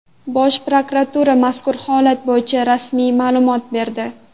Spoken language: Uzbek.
Bosh prokuratura mazkur holat bo‘yicha rasmiy ma’lumot berdi .